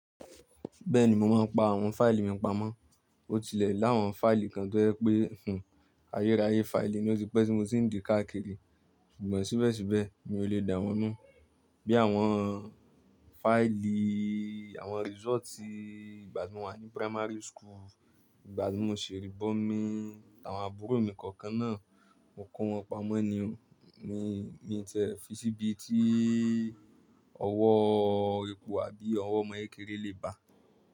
Bẹ́ẹ̀ni mo máa ń pa àwọn fáìlì mi pamọ́. Ó tilẹ̀ láwọn fáìlì kan tó yẹ pé fún ayérayé fáìlì ó ti pẹ́ tí mo ń di káàkiri ṣùgbọ́n síbẹ̀síbẹ̀ mi ò lè dá wọn nu. Bí i àwọn fáìlì, àwọn result ìgbà tí mo wà ní primary school, ìgbà tí mo ṣèrí bọ́mi, àwọn àbúrò mi kọ̀ọ̀kan náà, mo kó wọn pamọ́ ni o, mi ò ní tẹ̀ ẹ fi síbi tí ọwọ́ eku àbí ọwọ́ ọmọ kékeré lè bà.